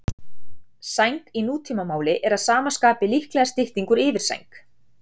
Sæng í nútímamáli er að sama skapi líklega stytting úr yfirsæng.